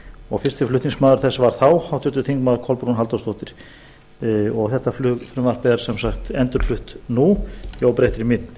og fyrsti flutningsmaður þess var þá háttvirtir þingmenn kolbrún halldórsdóttir þetta frumvarp er sem sagt endurflutt nú í óbreyttri mynd